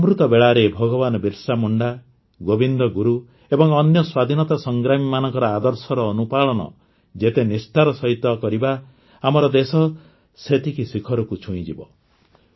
ଏହି ଅମୃତବେଳାରେ ଭଗବାନ ବିର୍ସାମୁଣ୍ଡା ଗୋବିନ୍ଦ ଗୁରୁ ଏବଂ ଅନ୍ୟ ସ୍ୱାଧୀନତା ସଂଗ୍ରାମୀମାନଙ୍କର ଆଦର୍ଶର ଅନୁପାଳନ ଯେତେ ନିଷ୍ଠାର ସହିତ କରିବା ଆମର ଦେଶ ସେତିକି ଶିଖରକୁ ଛୁଇଁଯିବ